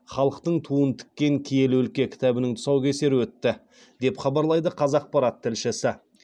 хандықтықтың туын тіккен киелі өлке кітабының тұсаукесері өтті деп хабарлайды қазақпарат тілшісі